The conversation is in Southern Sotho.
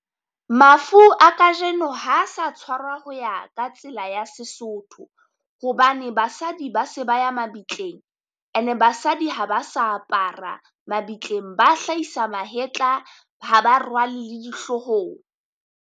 Mafu a kajeno ha sa tswarwa ho ya ka tsela ya seSotho, hobane basadi ba se ba ya mabitleng, and-e basadi ha ba sa apara mabitleng, ba hlahisa mahetla ha ba rwale le dihloohong.